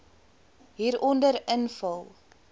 hieronder invul